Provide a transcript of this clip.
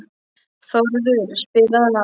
Þórður, spilaðu lag.